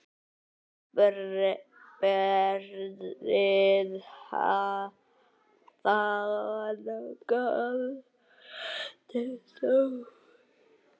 Berið fangann til dóms.